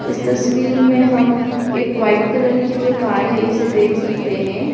इस तस्वीर में हम एक व्हाइट कलर की जो कार है इसे देख सकते हैं।